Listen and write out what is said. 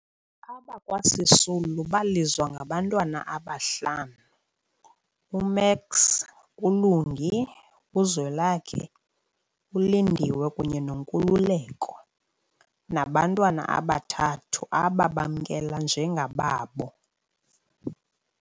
Abakwa Sisulu balizwa ngabantwana abahlanu, u-Max, uLungi, uZwelakhe, uLindiwe kunye noNkululeko, nabantwana abathathu ababamnkela njengababo.